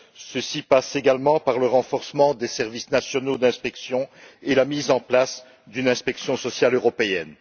Cela passe également par le renforcement des services nationaux d'inspection et la mise en place d'une inspection sociale européenne.